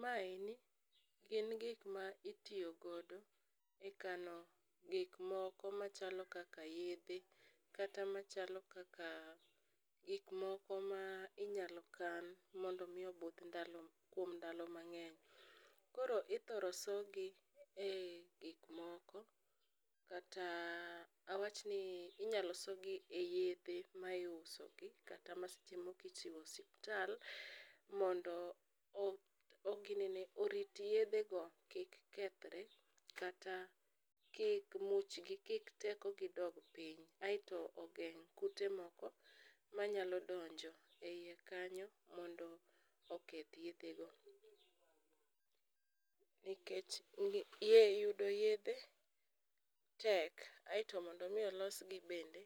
ma eni en gik ma itiyo godo e kano gik moko machalo kaka yedhe kata machalo kaka gik moko ma inyalo kan mondo mi obudh kuom ndalo mang'eny koro ithoro so gi e gik moko kata awachni inyalo sogi e yedhe ma iuso gi kata ma seche moko ichiwo e hosiptal mondo orit yedhe go kik kethre kata kik teko gi dog piny a eto ogeng kute moko manyalo donjo e iye kanyo mondo oketh yedhe go nikech yudo yedhe tek ae to mondo mi olos yedhe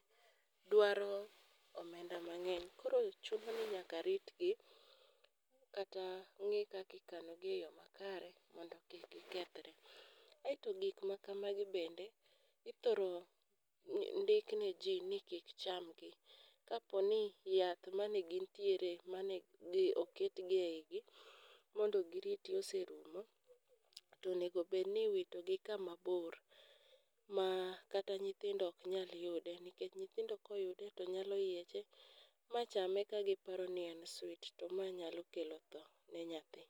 dwaro omenda mang'eny, koro chuno ni nyaka rit gi kta kan gi e yo makare mondo kik gi kethre ,a e to gik maka magi bende ithoro ndik ne ji ni mondo kik gi cham gi kaponi yath kaponi yath mane oket gi e igi mondo giriti oserumo ,tonego bed ni irito gi kama bor ma kata nyithindo ok nyal yude nikech nyithindo koyude nyalo yieche machame ka giparo ni en sweet to ma nyalo kelo tho ne nyathi.